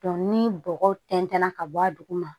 ni bɔgɔ tɛntɛnna ka bɔ a duguma